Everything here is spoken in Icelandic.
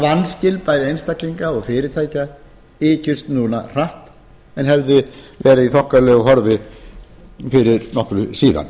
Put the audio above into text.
vanskil einstaklinga og fyrirtækja ykjust núna hratt en hefðu verið í þokkalegu horfi fyrir nokkru síðan